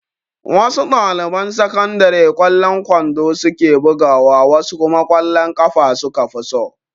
Wasu ɗaliban sakandare ƙwallon kwando su ke bugawa wasu kuma ƙwallon ƙafa su ka fi so.